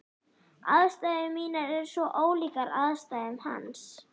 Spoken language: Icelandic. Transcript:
Aðstæður mínar eru svo ólíkar aðstæðum hans.